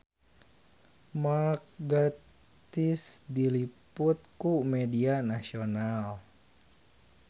Mark Gatiss diliput ku media nasional